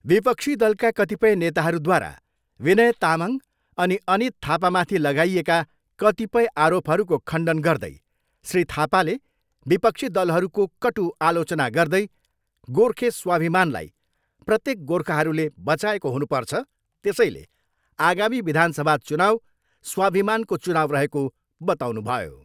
विपक्षी दलका कतिपय नेताहरूद्वारा विनय तामाङ अनि अनित थापामाथि लागाएका कतिपय आरोपहरूको खण्डन गर्दै श्री थापाले विपक्षी दलहरूको कटुआलोचना गर्दै गोर्खे स्वभिमानलाई प्रत्येक गोर्खाहरूले बचाएको हुनुपर्छ, त्यसैले आगामी विधान सभा चुनाउ स्वाभिमानको चुनाउ रहेको बताउनुभयो।